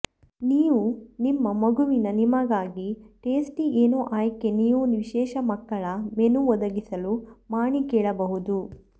ನೀವು ನಿಮ್ಮ ಮಗುವಿನ ನಿಮಗಾಗಿ ಟೇಸ್ಟಿ ಏನೋ ಆಯ್ಕೆ ನೀವು ವಿಶೇಷ ಮಕ್ಕಳ ಮೆನು ಒದಗಿಸಲು ಮಾಣಿ ಕೇಳಬಹುದು